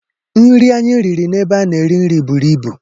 Nri anyị riri n'ebe a na-ere nri buru ibu